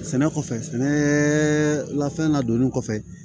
Sɛnɛ kɔfɛ sɛnɛ lafɛn ladonni kɔfɛ